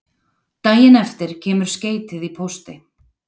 Daginn eftir kemur skeytið í pósti